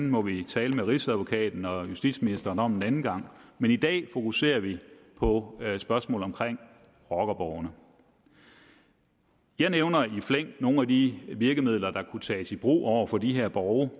må vi tale med rigsadvokaten og justitsministeren om en anden gang men i dag fokuserer vi på spørgsmålet om rockerborgene jeg nævner i flæng nogle af de virkemidler der kunne tages i brug over for de her borge